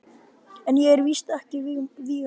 En ég er víst ekki vígamaður.